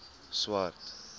swart